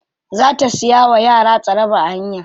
Za ta siya wa yara tsaraba a hanya.